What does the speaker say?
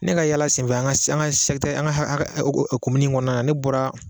Ne ka yaala senfɛ an ka an komini kɔnɔna na ne bɔra